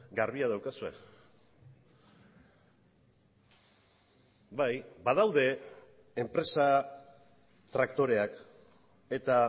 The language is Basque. garbia daukazue bai badaude enpresa traktoreak eta